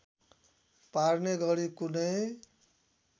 पार्ने गरी कुनै